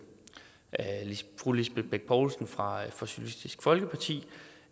fru lisbeth bech poulsen fra socialistisk folkeparti